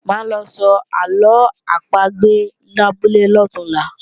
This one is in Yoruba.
Máa lọ sọ àlọ́ àpagbè labúlé lọ̀túnla